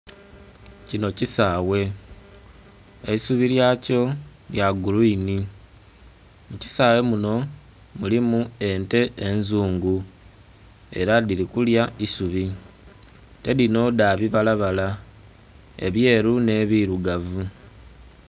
Kinho kisaghe eisubi lya kyo lya gulwini, mu kisaghe munho mulimu ente enzungu era dhili kulya isubi. Ente dhino dha bibalabala ebyeru nhe birugavu.